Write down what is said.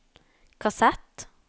kassett